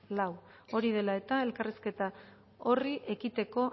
lau hori dela eta elkarrizketa horri ekiteko